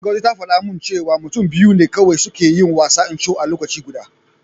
Ngozi ta faɗa min cewa mutum biyu ne kawai suke yin wasan Ncho a lokaci guda.